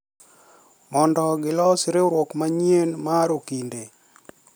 Mondo gilos riwruok manyien mar okinde